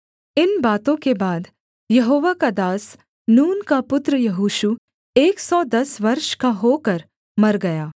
इन बातों के बाद यहोवा का दास नून का पुत्र यहोशू एक सौ दस वर्ष का होकर मर गया